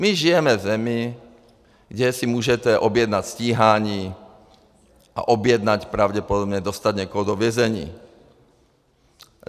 My žijeme v zemi, kde si můžete objednat stíhání a objednat pravděpodobně, dostat někoho do vězení.